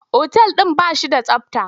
Otal ɗin ba shi da tsabta.